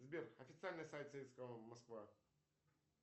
сбер официальный сайт москва